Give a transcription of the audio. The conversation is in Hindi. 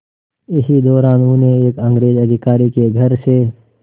इसी दौरान उन्हें एक अंग्रेज़ अधिकारी के घर से